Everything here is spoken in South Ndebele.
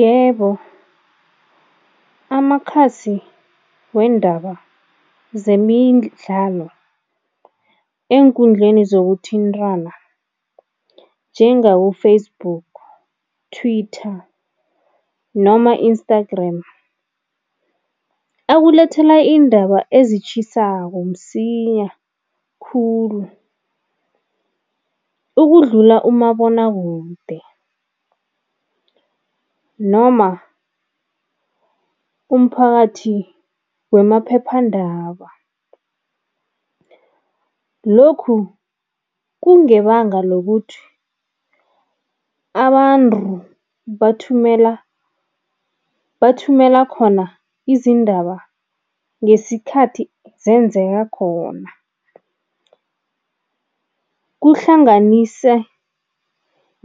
Yebo, amakhasi weendaba zemidlalo eenkundleni zokuthintana njengabo-Facebook, Twitter noma Instagram, akulethela iindaba ezitjhisako msinya khulu ukudlula umabonwakude noma umphakathi wemaphephandaba. Lokhu kungebanga lokuthi abantu bathumela bathumela khona izindaba ngesikhathi zenzeka khona, kuhlanganise